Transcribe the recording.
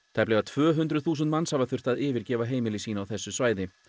tæplega tvö hundruð þúsund manns hafa þurft að yfirgefa heimili sín á þessu svæði